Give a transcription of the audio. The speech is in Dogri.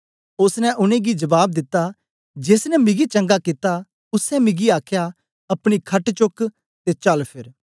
ओसने उनेंगी जबाब दिता जेस ने मिगी चंगा कित्ता उसै मिगी आखया अपनी खट चुक्क ते चलफेर